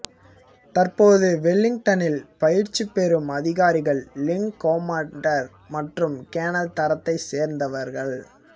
தற்போது வெலிங்டனில் பயிற்சி புறும் அதிகாரிகள் விங்கொமாண்டர் மற்றும் கேணல் தரத்தைச் சேர்ந்தவர்கள்